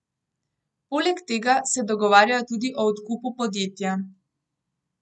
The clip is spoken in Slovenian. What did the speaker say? Poleg tega se dogovarjajo tudi o odkupu podjetja.